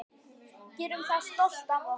Gerum það stolt af okkur.